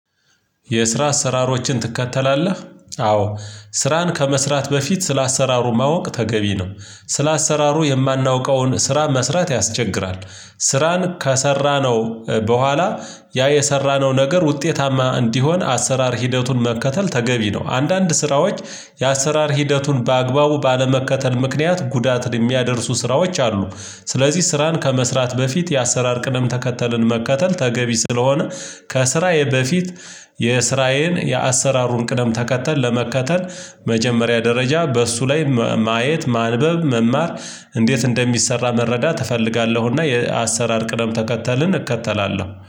የስራ አሰራሮችን ትከተላለህ? አዎ ስራን ከመስራት በፊት ስለ አሰራሩ ማወቅ ተገቢ ነው። ስለ አሰራሩ የማናውቀውን ስራ መስራት ያስቸግራል። ስራን ከሰራነው በኋላ ያ የሰራነው ነገር ውጤታማ እንዲሆን አሰራር ሂደቱን መከተል ተገቢ ነው። አንዳንድ ስራዎች የአሰራር ሂደቱን በአግባቡ ባለመከተል ምክንያት ጉዳትን የሚያደርሱ ስራዎች አሉ። ስለዚህ ስራን ከመስራት በፊት የአሰራር ቅደም ተከተልን መከተል ተገቢ ስለሆነ ከስራዬ በፊት የስራዬን የአሰራሩን ቅደም ተከተል ለመከተል መጀመሪያ ደረጃ በእሱ ላይ ማየት ማንበብ መማር እንዴት እንደሚሰራ መረዳት እፈልጋለሁና የአሰራር ቅደም ተከተልን እከተላለሁ